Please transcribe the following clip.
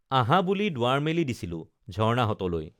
আঁহা বুলি দুৱাৰ মেলি দিছিলো ঝৰ্ণাহঁতলৈ